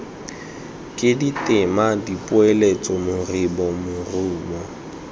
ke ditema dipoeletso moribo morumo